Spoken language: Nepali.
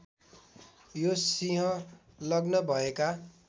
यो सिंह लग्न भएका